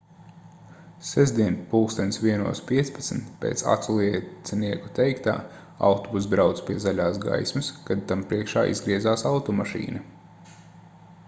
sestdien plkst 01:15 pēc aculiecinieku teiktā autobuss brauca pie zaļās gaismas kad tam priekšā izgriezās automašīna